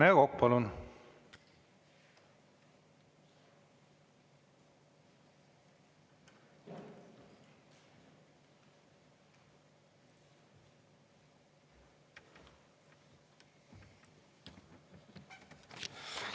Rene Kokk, palun!